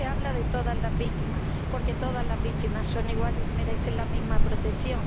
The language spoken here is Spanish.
Pero se habla de todas las víctimas, porque todas las víctimas son iguales y merecen la misma protección.